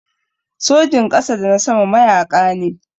Sojin ƙasa da na sama mayaƙa ne.